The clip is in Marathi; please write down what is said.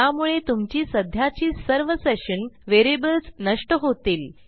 यामुळे तुमची सध्याची सर्व सेशन व्हेरिएबल्स नष्ट होतील